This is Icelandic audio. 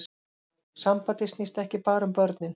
Sambandið snýst ekki bara um börnin